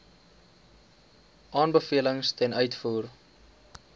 aanbevelings ten uitvoer